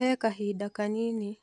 He kahida kanini.